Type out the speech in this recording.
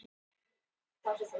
Vélin var íslensk hönnun og smíði.